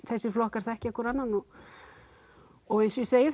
þessir flokkar þekkja hvor annann og eins og ég segi